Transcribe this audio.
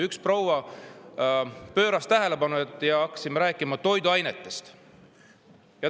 Üks proua pööras tähelepanu toiduainetele ja me hakkasime sellest rääkima.